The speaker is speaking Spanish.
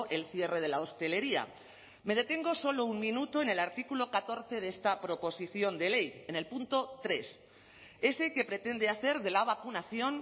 el cierre de la hostelería me detengo solo un minuto en el artículo catorce de esta proposición de ley en el punto tres ese que pretende hacer de la vacunación